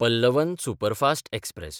Pallavan superfast express